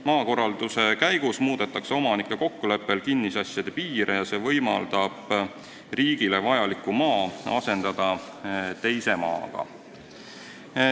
Maakorralduse käigus muudetakse omanike kokkuleppel kinnisasjade piire ja see võimaldab riigile vajaliku maa asendada teise maaga.